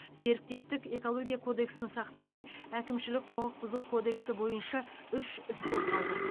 серіктестік экология кодексін сақтамай әкімшілік құқық бұзу кодексі бойынша үш іс қозғалды